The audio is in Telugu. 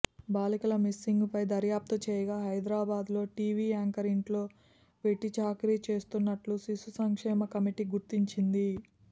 బాలికల మిస్సింగ్పై దర్యాప్తు చేయగా హైదరాబాద్లో టీవీ యాంకర్ ఇంట్లో వెట్టిచాకిరి చేస్తున్నట్టు శిశు సంక్షేమ కమిటీ గుర్తించింది